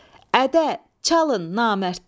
Ədə, çalın namərdlər!